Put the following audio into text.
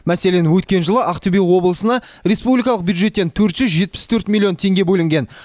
мәселен өткен жылы ақтөбе облысына республикалық бюджеттен төрт жүз жетпіс төрт миллион теңге бөлінген